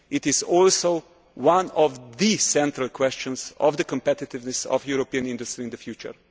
it is also one of the central questions of the competitiveness of European industry in the future.